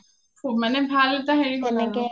শুব মানে ভাল এটা হেৰি আৰু